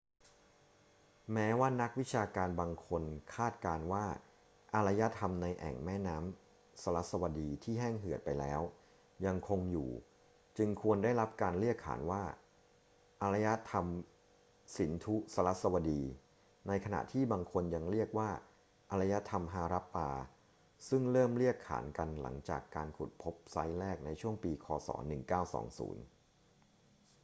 แม้ว่านักวิชาการบางคนคาดการณ์ว่าอารยธรรมในแอ่งแม่น้ำสรัสวดีที่แห้งเหือดไปแล้วยังคงอยู่ จึงควรได้รับการเรียกขานว่าอารยธรรมสินธุ-สรัสวดี ในขณะที่บางคนยังเรียกว่าอารยธรรมฮารัปปา ซึ่งเริ่มเรียกขานกันหลังจากการขุดพบไซต์แรกในช่วงปี ค. ศ. 1920